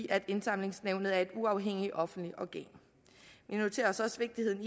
af at indsamlingsnævnet er et uafhængigt offentligt organ vi noterer os også vigtigheden